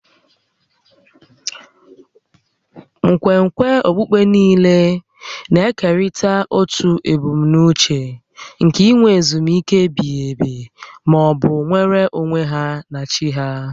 Nkwenkwe okpukpe niile na-ekerịta otu ebumnuche nke inwe ezumike ebighi ebi ma ọ bụ nnwere onwe ha na chi ha